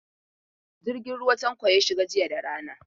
Jirgin ruwa Tanko ya shiga jiya da rana.